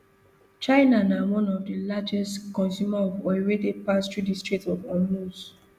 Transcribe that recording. china na one of di largest consumers of oil wey dey pass through strait of hormuz